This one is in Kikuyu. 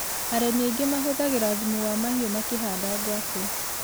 Arĩmi aingĩ mahothagĩra thumu wa mahiũ makĩhanda ngwacĩ.